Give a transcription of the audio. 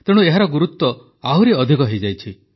ତେଣୁ ଏହାର ଗୁରୁତ୍ୱ ଆହୁରି ଅଧିକ ହୋଇଯାଇଛି